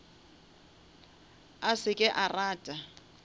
a se ke a rata